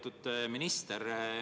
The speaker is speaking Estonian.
Lugupeetud minister!